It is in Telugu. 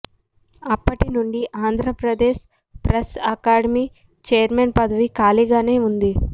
అప్పటి నుండి ఆంధ్రప్రదేశ్ ప్రెస్ అకాడమి చైర్మన్ పదవి ఖాళీగానే ఉంది